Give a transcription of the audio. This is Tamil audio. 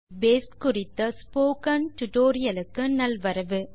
லிப்ரியாஃபிஸ் பேஸ் குறித்த ஸ்போக்கன் டியூட்டோரியல் க்கு நல்வரவு